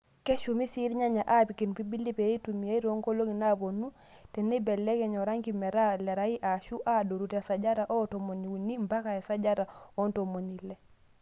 Keshumi sii irnyanya aapik impirbili pee eitumiyai toonkolong'i naapuonu teneibelekeny oranki metaa lerai ashuu adoru te sajata e tomoniuni mpaka esajata oo ntomoni ile.